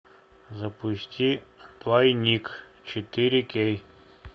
запусти тайник четыре кей